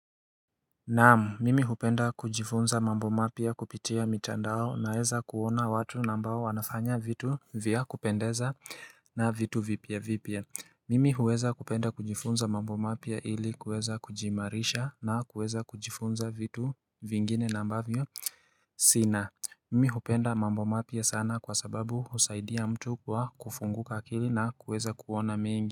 Naam mimi hupenda kujifunza mambo mapya kupitia mitandao naweza kuona watu na ambao wanafanya vitu vya kupendeza na vitu vipya vipya Mimi huweza kupenda kujifunza mambo mapya ili kuweza kujiimarisha na kuweza kujifunza vitu vingine na ambavyo sina Mimi hupenda mambo mapya sana kwa sababu husaidia mtu kwa kufunguka akili na kuweza kuona mengi.